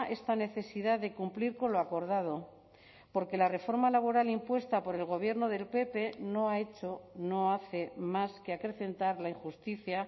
esta necesidad de cumplir con lo acordado porque la reforma laboral impuesta por el gobierno del pp no ha hecho no hace más que acrecentar la injusticia